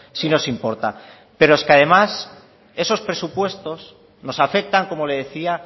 sí nos importa pero es que además esos presupuestos nos afectan como le decía